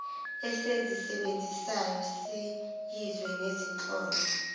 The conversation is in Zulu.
esizisebenzisayo siyizwe nezinhlolo